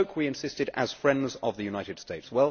We spoke, we insisted, as friends of the United States.